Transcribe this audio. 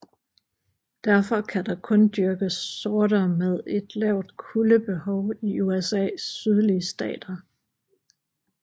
Derfor kan der kun dyrkes sorter med et lavt kuldebehov i USAs sydlige stater